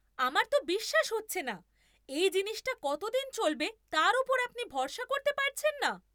আমার তো বিশ্বাস হচ্ছে না এই জিনিসটা কতদিন চলবে তার ওপর আপনি ভরসা করতে পারছেন না!